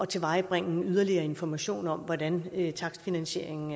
tilvejebringe yderligere information om hvordan takstfinansieringen